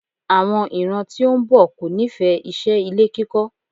Àwọn ìran tí ó ń bọ̀ kò nífẹ̀ẹ́ iṣẹ́ ilé kíkọ́.